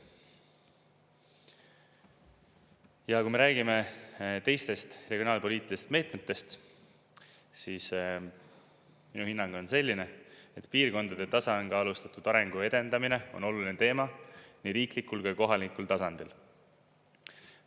Ja kui me räägime teistest regionaalpoliitilistest meetmetest, siis minu hinnang on selline, et piirkondade tasakaalustatud arengu edendamine on oluline teema nii riiklikul kui ka kohalikul tasandil.